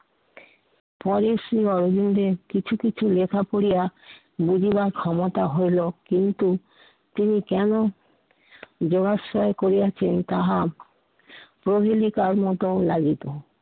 পরের শ্রী অরবিন্দের কিছু কিছু লেখা পড়িয়া বুঝিবার ক্ষমতা হইলো। কিন্তু তিনি কেন জলাচ্ছয় করিয়াছেন তাহা প্রহনী তার মতো লাই দিতেন।